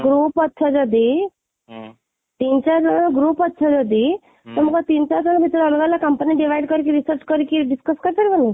group ଅଛ ଯଦି ତିନି ଚାରି ଜଣ group ଅଛ ଯଦି ତମେ କ'ଣ ତିନି ଚାରି ଜଣ ଅଲଗା ଅଲଗା company divide କରିକି research କରିକି discus କଲେ ହବନି